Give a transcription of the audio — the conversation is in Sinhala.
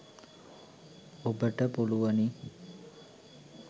ඔබට පුලුවනි